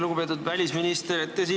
Lugupeetud välisminister!